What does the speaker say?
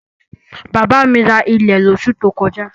Bàbá mi ra ilẹ̀ lósù tí ó kọjá